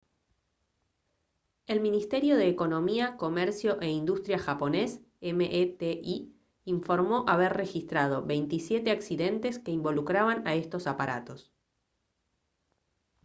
el ministerio de economía comercio e industria japonés meti informó haber registrado 27 accidentes que involucraban a estos aparatos